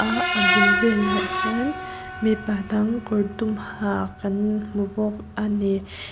a a bul velah hian mipa dang kawr dum ha kan hmu bawk a ni--